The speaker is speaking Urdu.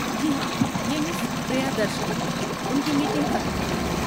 جی ہاں، یہ مس پریادرشنی ہیں، ان کی میٹنگ ختم ہو گئی ہے۔